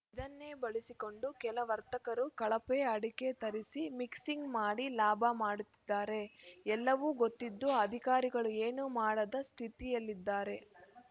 ಇದನ್ನೇ ಬಳಸಿಕೊಂಡು ಕೆಲ ವರ್ತಕರು ಕಳಪೆ ಅಡಕೆ ತರಿಸಿ ಮಿಕ್ಸಿಂಗ್‌ ಮಾಡಿ ಲಾಭ ಮಾಡುತ್ತಿದ್ದಾರೆ ಎಲ್ಲವೂ ಗೊತ್ತಿದ್ದೂ ಅಧಿಕಾರಿಗಳು ಏನೂ ಮಾಡದ ಸ್ಥಿತಿಯಲ್ಲಿದ್ದಾರೆ